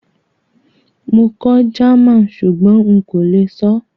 Mo kọ́ German súgbón n kó le sọ́